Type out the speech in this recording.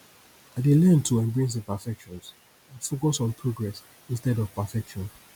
i dey learn to embrace imperfections and focus on progress instead of perfection